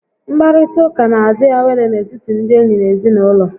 Nkparita ụka n'adị awele n'etiti ndị enyi na ezinaụlọ